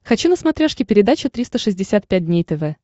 хочу на смотрешке передачу триста шестьдесят пять дней тв